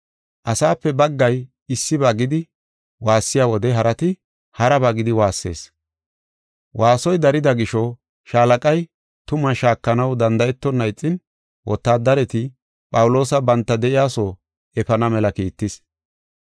Asaape baggay issiba gidi waassiya wode, harati haraba gidi waassees. Waasoy darida gisho, shaalaqay tumaa shaakanaw danda7etonna ixin, wotaadareti Phawuloosa banta de7iyaso efana mela kiittis.